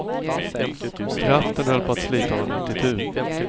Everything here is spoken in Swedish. Kraften höll på att slita honom mitt i tu.